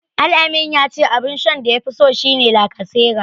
Al-amin ya ce abun shan da yafi so shi ne lacasera.